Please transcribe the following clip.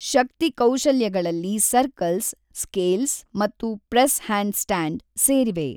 ಶಕ್ತಿ ಕೌಶಲ್ಯಗಳಲ್ಲಿ circles, scales ಮತ್ತು press handstand ಸೇರಿವೆ.